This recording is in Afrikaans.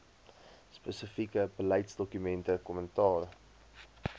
spesifieke beleidsdokumente kommentaar